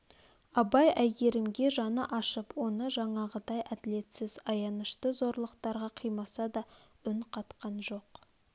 абай әйгерімге жаны ашып оны жаңағыдай әділетсіз аянышты зорлықтарға қимаса да үн қатқан жоқ